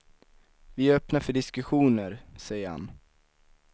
Vi är öppna för diskussioner, säger han.